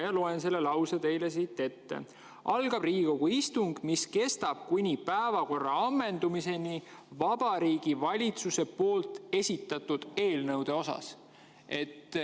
Ma loen selle lause teile siit ette: " algab Riigikogu istung, mis kestab kuni päevakorra ammendumiseni Vabariigi Valitsuse poolt esitatud eelnõude osas.